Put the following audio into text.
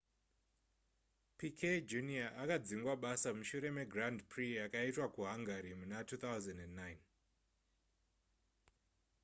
piquet jr akadzingwa basa mushure megrand prix yakaitwa kuhungary muna 2009